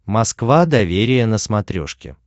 москва доверие на смотрешке